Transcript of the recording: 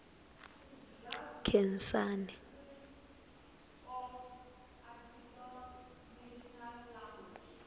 khensani